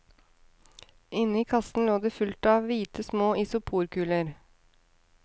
Inne i kassen lå det fullt av hvite små isoporkuler.